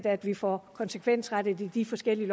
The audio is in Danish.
at vi får konsekvensrettet i de forskellige